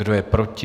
Kdo je proti?